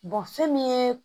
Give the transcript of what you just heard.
fɛn min ye